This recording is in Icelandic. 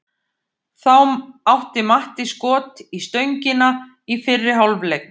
Þá átti Matti skot í stöngina í fyrri hálfleik.